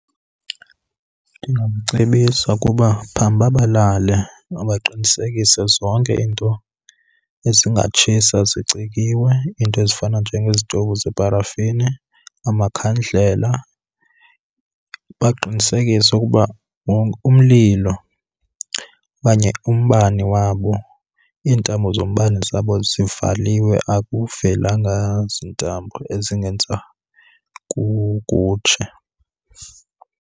Ndingamcebisa ukuba phambi uba balale mabaqinisekise zonke iinto ezingatshisa zicikiwe, iinto ezifana njengezitovu zeparafini, amakhandlela. Baqinisekise ukuba umlilo okanye umbane wabo, iintambo zombane zabo zivaliwe akuvelanga zintambo ezingenza kutshe.